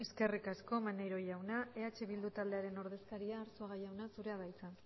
eskerrik asko maneiro jauna eh bildu taldearen ordezkaria arzuaga jauna zurea da hitza